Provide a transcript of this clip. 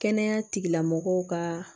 Kɛnɛya tigilamɔgɔw ka